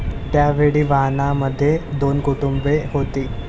त्यावेळी वाहनामध्ये दोन कुटुंबे होती.